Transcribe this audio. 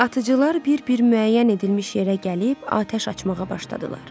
Atıcılar bir-bir müəyyən edilmiş yerə gəlib atəş açmağa başladılar.